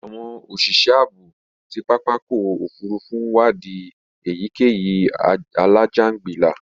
Àwọn òṣìṣẹ́ ààbò ti pápákọ̀ òfurufú ń wadi èyíkéyìí alájàǹgbilà